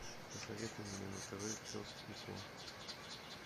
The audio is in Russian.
посоветуй мне на тв пес и ко